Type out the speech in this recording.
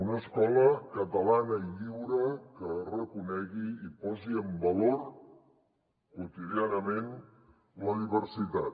una escola catalana i lliure que reconegui i posi en valor quotidianament la diversi·tat